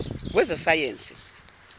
wezasayensi